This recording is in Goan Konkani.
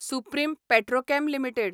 supreme Petrochem limited